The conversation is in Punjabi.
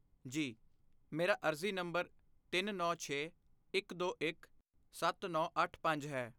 ਜੀ, ਮੇਰਾ ਅਰਜ਼ੀ ਨੰਬਰ ਤਿੰਨ ਨੌ ਛੇ, ਇਕ ਦੋ ਇਕ, ਸੱਤ ਨੌ ਅੱਠ ਪੰਜ ਹੈ